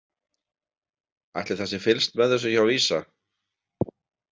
Ætli það sé fylgst með þessu hjá VISA?